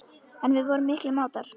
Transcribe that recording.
En við vorum miklir mátar.